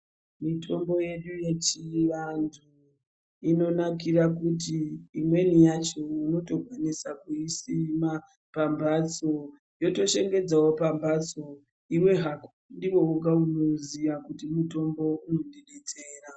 Mitombo yedu yechiantu inonakire kuti imweni yacho unotokwanisa kuisima pambatso yotoshengedzawo pambatso iwe hako ndiwo woga unoziya kuti mutombo unondidetsera.